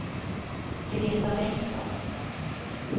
Greta Bengtsson